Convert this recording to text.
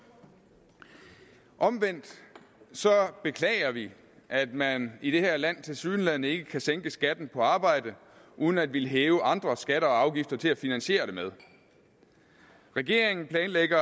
omvendt beklager vi at man i det her land tilsyneladende ikke kan sænke skatten på arbejde uden at ville hæve andre skatter og afgifter til at finansiere det med regeringen planlægger